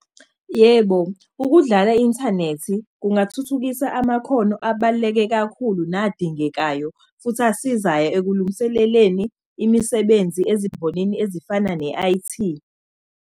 Yebo, ukudlala inthanethi kungathuthukisa amakhono abaluleke kakhulu nadingekayo futhi asizayo sikulungiseleleni imisebenzi ezimbonini ezifana ne-I_T.